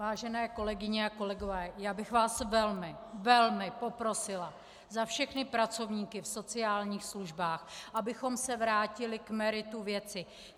Vážené kolegyně a kolegové, já bych vás velmi, velmi poprosila za všechny pracovníky v sociálních službách, abychom se vrátili k meritu věci.